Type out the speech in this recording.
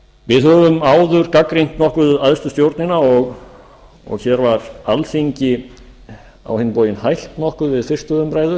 við höfum áður gagnrýnt nokkuð æðstu stjórnina og hér var alþingi á hinn bóginn hætt nokkuð við fyrstu umræðu